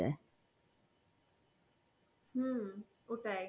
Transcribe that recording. হম ওটাই,